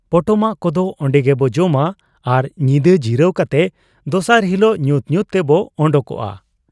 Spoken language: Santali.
ᱯᱚᱴᱚᱢᱟᱜ ᱠᱚᱫᱚ ᱚᱱᱰᱮᱜᱮᱵᱚ ᱡᱚᱢᱟ ᱟᱨ ᱧᱤᱫᱟᱹ ᱡᱤᱨᱟᱹᱣ ᱠᱟᱛᱮ ᱫᱚᱥᱟᱨ ᱦᱤᱞᱚᱜ ᱧᱩᱛ ᱧᱩᱛ ᱛᱮᱵᱚ ᱚᱰᱚᱠᱚᱜ ᱟ ᱾